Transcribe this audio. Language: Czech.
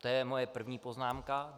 To je moje první poznámka.